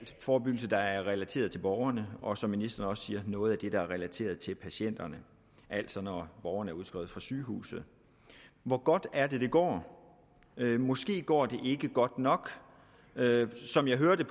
forebyggelse der er relateret til borgerne og som ministeren også siger noget af det der er relateret til patienterne altså når borgeren er udskrevet fra sygehuset hvor godt er det det går måske går det ikke godt nok som jeg hørte